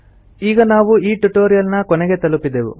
ಈಗ ನಾವು ಈ ಟ್ಯುಟೊರಿಯಲ್ ನ ಕೊನೆಗೆ ತಲುಪಿದೆವು